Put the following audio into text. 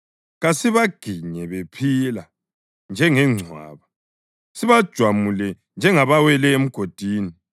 kasibaginye bephila njengengcwaba, sibajwamule njengabawele emgodini;